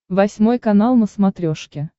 восьмой канал на смотрешке